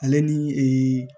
Ale ni ee